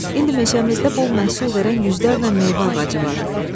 İndi meşəmizdə bol məhsul verən yüzlərlə meyvə ağacı var.